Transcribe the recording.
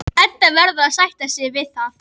Edda verður að sætta sig við það.